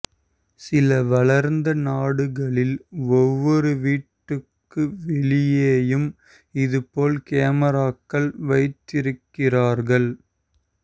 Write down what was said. சில வளர்ந்த நாடுகளில் ஒவ்வொரு வீட்டுக்கு வெளியேயும் இதுபோல் கேமராக்கள் வைத்திருக்கிறார்கள்